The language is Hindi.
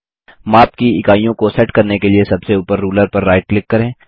माप की इकाइयों को सेट करने के लिए सबसे ऊपर रूलर पर राइट क्लिक करें